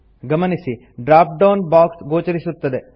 ಗಮನಿಸಿ drop down box ಗೋಚರಿಸುತ್ತದೆ